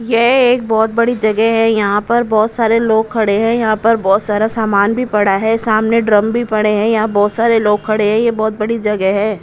यह एक बहुत बड़ी जगह है यहां पर बहुत सारे लोग खड़े हैं यहां पर बहुत सारा सामान भी पड़ा है सामने ड्रम भी पड़े हैं यहां बहुत सारे लोग खड़े हैं यह बहुत बड़ी जगह है।